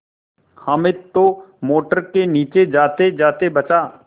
हामिद तो मोटर के नीचे जातेजाते बचा